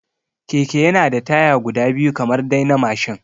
Keke yana da taya guda biyu kamar dai na mashin